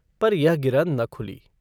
पर यह गिरह न खुली।